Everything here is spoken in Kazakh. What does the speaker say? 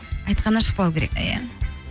айтқаннан шықпау керек иә